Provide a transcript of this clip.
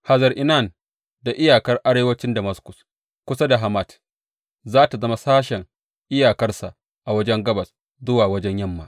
Hazar Enan da iyakar arewancin Damaskus kusa da Hamat za tă zama sashen iyakarsa a wajen gabas zuwa wajen yamma.